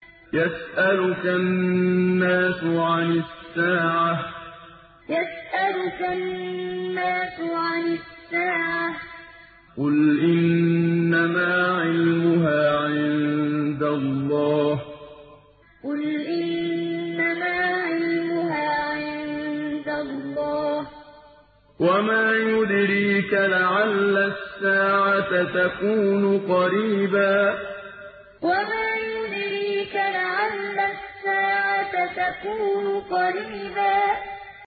يَسْأَلُكَ النَّاسُ عَنِ السَّاعَةِ ۖ قُلْ إِنَّمَا عِلْمُهَا عِندَ اللَّهِ ۚ وَمَا يُدْرِيكَ لَعَلَّ السَّاعَةَ تَكُونُ قَرِيبًا يَسْأَلُكَ النَّاسُ عَنِ السَّاعَةِ ۖ قُلْ إِنَّمَا عِلْمُهَا عِندَ اللَّهِ ۚ وَمَا يُدْرِيكَ لَعَلَّ السَّاعَةَ تَكُونُ قَرِيبًا